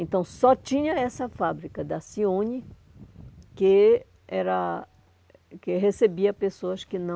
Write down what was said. Então, só tinha essa fábrica da Cione que era que recebia pessoas que não